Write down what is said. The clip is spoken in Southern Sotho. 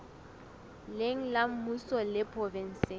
leng la mmuso le provenseng